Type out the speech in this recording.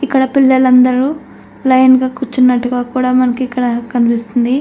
ఇక్కడ పిల్లలందరూ లైన్ గా కూర్చున్నట్టుగా కూడా మనకి ఇక్కడ కనిపిస్తుంది.